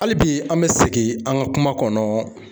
Hali bi an bɛ segin an ka kuma kɔnɔ.